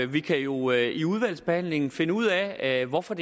vi kan jo i udvalgsbehandlingen finde ud af hvorfor